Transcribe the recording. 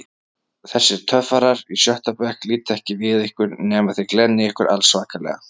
Þessir töffarar í sjötta bekk líta ekki við ykkur nema þið glennið ykkur allsvakalega.